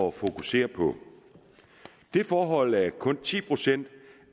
at fokusere på det forhold at kun ti procent